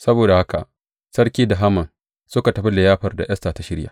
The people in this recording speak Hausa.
Saboda haka, sarki da Haman suka tafi liyafar da Esta ta shirya.